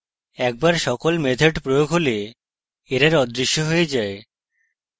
একবার সকল methods প্রয়োগ হলে error অদৃশ্য হয়ে যায়